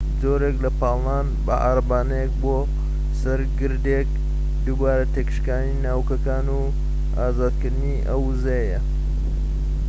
جۆرێک لە پاڵنان بە عارەبانەیەک بۆ سەر گردێک دووبارە تێکشاندنی ناووکەکان و ئازادکردنی ئەو ووزەیە